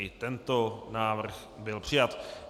I tento návrh byl přijat.